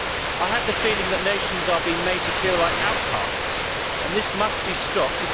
I have the feeling that nations are being made to feel like outcasts, and this must be stopped.